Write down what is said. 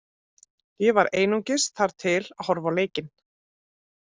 Ég var einungis þar til að horfa á leikinn.